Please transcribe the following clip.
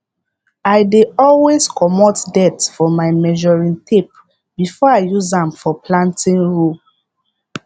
i dey always comot dirt for my measuring tape before i use am for planting row